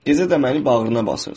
Gecə də məni bağrına basırsan.